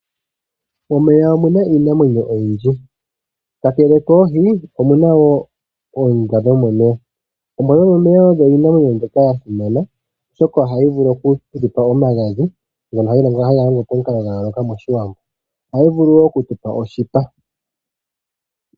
Momeya omuna iinamwenyo oyindji. Ka kele koohi, omu na woo oombwa dhomomeya, oombwa dhomomeya odho iinamwenyo mbyoka ya simana oshoka ohayi vulu oku tu pa omagadhi ngono haga longo pamukalo gwa yooloka mOshiwambo. Ohayi vulu woo oku tu pa oshipa.